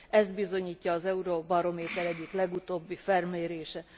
Ezt bizonyítja az Eurobarométer egyik legutóbbi felmérése.